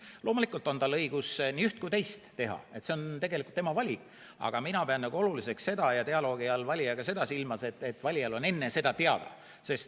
Loomulikult on tal õigus nii üht kui teist teha, see on tegelikult tema valik, aga mina pean dialoogi all valijaga seda silmas, et valijal on see enne teada.